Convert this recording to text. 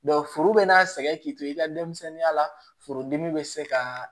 foro bɛ n'a sɛgɛn k'i to i ka denmisɛnninya la furudimi be se kaa